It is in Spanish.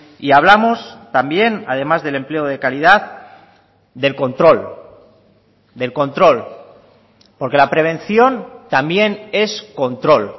y hablamos también además del empleo de calidad del control del control porque la prevención también es control